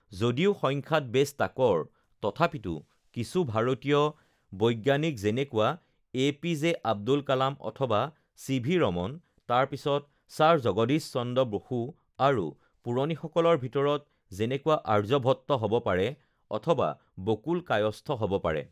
যদিও সংখ্যাত বেচ তাকৰ তথাপিতো কিছু ভাৰতীয় বৈজ্ঞানিক যেনেকুৱা A P J Abdul Kalam অথবা চি ভি ৰমন তাৰপিছত ছাৰ জগদীশ চন্দ্ৰ বসু আৰু পুৰণি সকলৰ ভিতৰত যেনেকুৱা আৰ্যভট্ট হ'ব পাৰে অথবা বকুল কায়স্থ হ'ব পাৰে